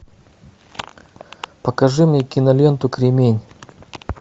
покажи мне киноленту кремень